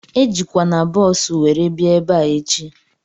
Ejikwana bọọsu were bịa ebea echi!